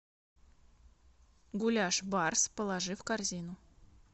гуляш барс положи в корзину